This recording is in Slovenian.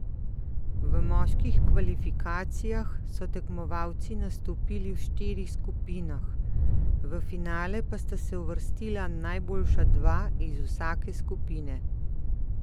V moških kvalifikacijah so tekmovalci nastopili v štirih skupinah, v finale pa sta se uvrstila najboljša dva iz vsake skupine.